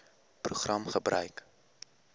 program gebruik